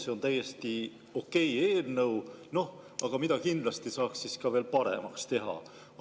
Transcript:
See on täiesti okei eelnõu, aga seda saaks kindlasti veel paremaks teha.